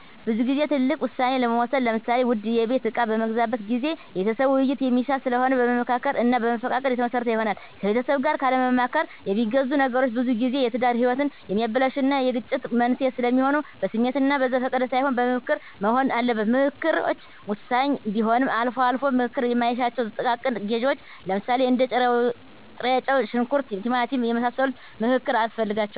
ብዙ ግዜ ትልልቅ ውሳኔ ለመወሰን ለምሳሌ ውድ የቤት እቃ በምገዛበት ጊዜ የቤተሰብን ዉይይት የሚሻ ስለሆነ በመመካከር እና በመፈቃቀድ የተመሰረተ ይሆናል። ከቤተሰብ ጋር ካለማማከር የሚገዙ ነገሮች ብዙጊዜ የትዳር ህይወትን የሚያበላሹ እና የግጭት መንስዔ ስለሚሆኑ በስሜት እና በዘፈቀደ ሳይሆን በምክክር መሆን አለበት። ምከክሮች ወሳኝ ቢሆንም አልፎ አልፎ ምክክር ማይሻቸው ጥቃቅን ግዢዎች ለምሳሌ እንደ ጥሬጨው; ሽንኩርት; ቲማቲም የመሳሰሉ ምክክር አያስፈልጋቸውም።